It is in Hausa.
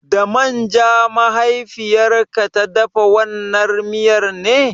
Da man ja mahaifiyar ka ta dafa wannan miyar ne?